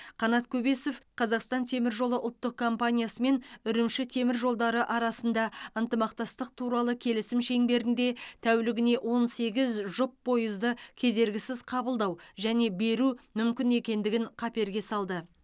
қанат көбесов қазақстан темір жолы ұлттық компаниясымен үрімші темір жолдары арасында ынтымақтастық туралы келісім шеңберінде тәулігіне он сегіз жұп пойызды кедергісіз қабылдау және беру мүмкін екендігін қаперге салды